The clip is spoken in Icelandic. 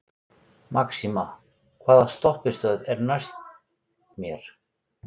Maxima, hvaða stoppistöð er næst mér?